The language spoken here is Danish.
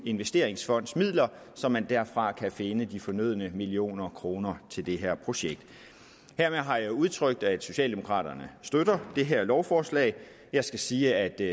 investeringsfondens midler så man derfra kan finde de fornødne millioner kroner til det her projekt hermed har jeg udtrykt at socialdemokraterne støtter det her lovforslag jeg skal sige at det